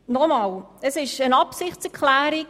Und noch einmal: Es ist eine Absichtserklärung.